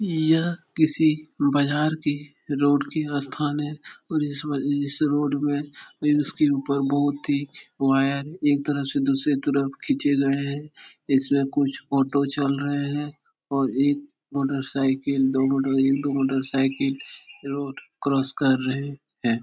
यह किसी बाजार की रोड की अस्थान है और इसमें इसी रोड में इसके उपर बोहोत ही वायर एक तरफ से दूसरी तरफ खिचे गए हैं। इसमें कुछ ओटो चल रहे हैं और एक मोटरसाइकल दोना दो मोटरसाइकल रोड क्रॉस कर रहे हैं।